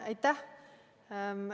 Aitäh!